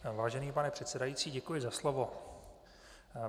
Vážený pane předsedající, děkuji za slovo.